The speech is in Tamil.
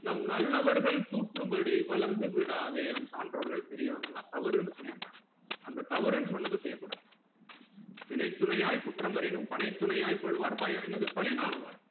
நம் நல்லவர்கள் கூற்றும் படி வளர்ந்து விடாதே நம் சாண்டோர்கள் பெரியவங்கலாம் தவறுன்னு சொல்லிருக்காங்க அந்த தவறுனு சொன்னத செய்யகூடாது பிணை துணையாய் குற்றம் வரினும் பணை துணையாய் கொள்வார் பயம் என்னது பழி நாணுவார்